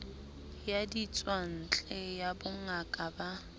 ya ditswantle ya bongaka ba